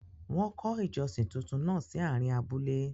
Wọ́n kọ́ ìjọsìn túntún náà sí àárín abúlé.